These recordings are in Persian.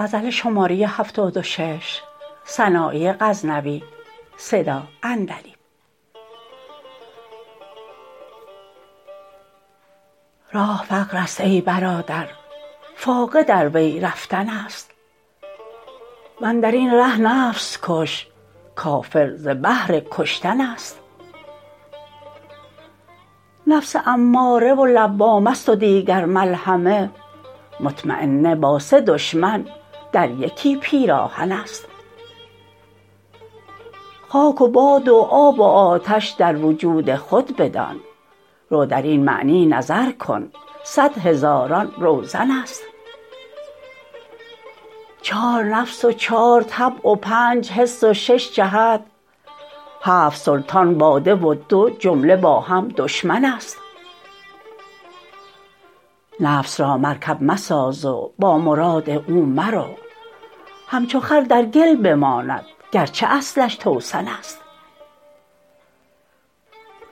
راه فقر است ای برادر فاقه در وی رفتن است وندرین ره نفس کش کافر ز بهر کشتن است نفس اماره و لوامه ست و دیگر ملهمه مطمینه با سه دشمن در یکی پیراهن است خاک و باد و آب و آتش در وجود خود بدان رو درین معنی نظر کن صدهزاران روزن است چار نفس و چار طبع و پنج حس و شش جهت هفت سلطان با ده و دو جمله با هم دشمن است نفس را مرکب مساز و با مراد او مرو همچو خر در گل بماند گرچه اصلش توسن است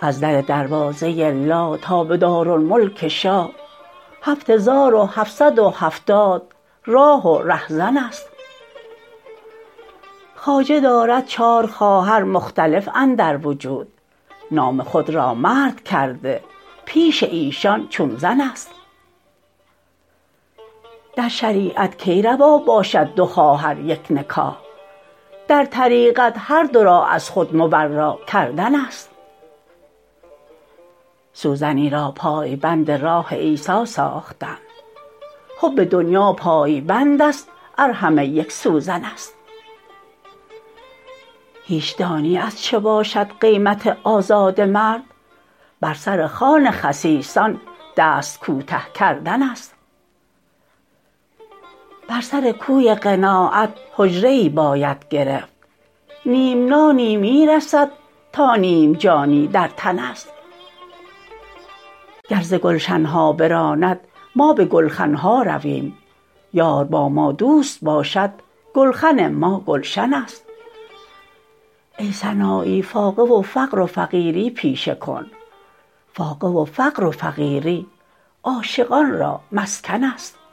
از در دروازه لا تا به دارالملک شاه هفهزار و هفصد و هفتاد راه و رهزن است خواجه دارد چار خواهر مختلف اندر وجود نام خود را مرد کرده پیش ایشان چون زن است در شریعت کی روا باشد دو خواهر یک نکاح در طریقت هر دو را از خود مبرا کردن است سوزنی را پای بند راه عیسی ساختند حب دنیا پای بند است ار همه یک سوزن است هیچ دانی از چه باشد قیمت آزاده مرد بر سر خوان خسیسان دست کوته کردن است بر سر کوی قناعت حجره ای باید گرفت نیم نانی می رسد تا نیم جانی در تن است گر ز گلشن ها براند ما به گلخن ها رویم یار با ما دوست باشد گلخن ما گلشن است ای سنایی فاقه و فقر و فقیری پیشه کن فاقه و فقر و فقیری عاشقان را مسکن است